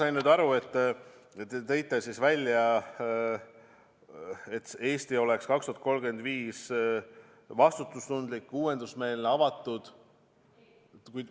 Ma sain aru, et te tõite välja, et Eesti oleks aastaks 2035 vastutustundlik, uuendusmeelne, avatud ...